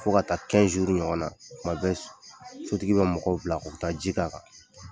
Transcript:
Fo ka taa ɲɔgɔn na, kuma bɛ sotigi bɛ mɔgɔw bila u bɛ taa ji kɛ'an kan